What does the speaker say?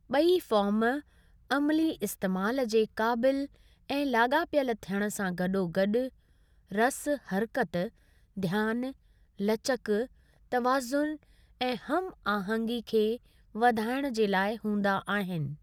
ॿई फॉर्म अमली इस्तेमालु जे क़ाबिलु ऐं लागा॒पियलु थियणु सां गडो॒ गॾु रसु हरकति, ध्यानु, लचकु, तवाज़ुन ऐं हम आहंगी खे वधाइण जे लाइ हूंदा आहिनि।